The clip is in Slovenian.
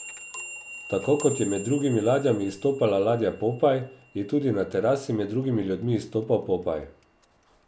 Tako kot je med drugimi ladjami izstopala ladja Popaj je tudi na terasi med drugimi ljudmi izstopal Popaj.